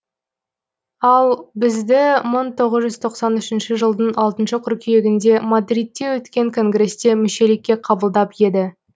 ал бізді мың тоғыз жүз тоқсан үшінші жылдың алтыншы қыркүйегінде мадридте өткен конгресте мүшелікке қабылдап еді